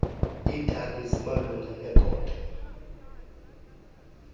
iitaki zimalunga nekota